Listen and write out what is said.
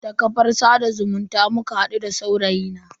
Ta kafar sada zumunta muka hadu da saurayi na.